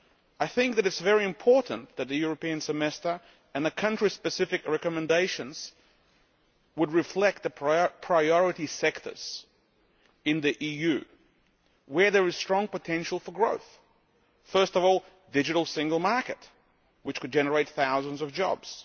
I think that it is very important that the European Semester and the country-specific recommendations reflect the priority sectors in the EU where there is strong potential for growth first of all, a digital single market, which could generate thousands of jobs